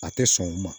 A tɛ sɔn o ma